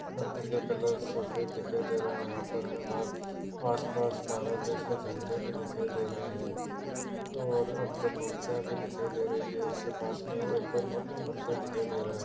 मंदिर का कलर सफ़ेद दिखाई दे रहा है यहाँ पर हमें बाहर आस-पास भारत देश के झेंडे भी दिखाई दे रहे है और अंदर मुर्तिया भी दिखाई दे रही है उसके पास में एक और मा-मंदिर दिखाई दे रहा है।